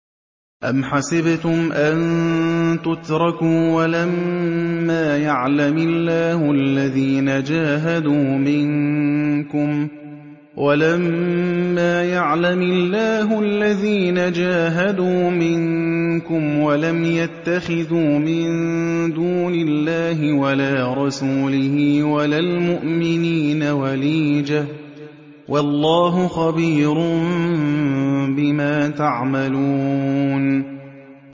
أَمْ حَسِبْتُمْ أَن تُتْرَكُوا وَلَمَّا يَعْلَمِ اللَّهُ الَّذِينَ جَاهَدُوا مِنكُمْ وَلَمْ يَتَّخِذُوا مِن دُونِ اللَّهِ وَلَا رَسُولِهِ وَلَا الْمُؤْمِنِينَ وَلِيجَةً ۚ وَاللَّهُ خَبِيرٌ بِمَا تَعْمَلُونَ